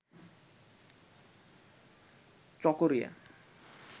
Chakaria